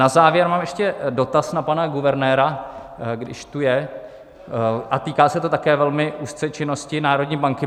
Na závěr mám ještě dotaz na pana guvernéra, když tu je, a týká se to také velmi úzce činnosti národní banky.